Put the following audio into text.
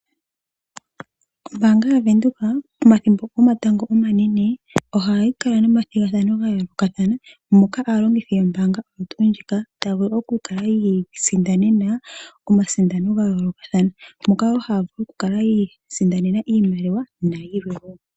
Ombaanga yaVenduka pomathimbo gomatango omanene ohayi kala nomathigathano ga yoolokathana moka aalongithi yombaanga oyo tuu ndjika taya vulu okuka yi isindanena omasindano ga yoolokathana, moka haya vulu okukala yi isindanena iimaliwa nayilwe wo.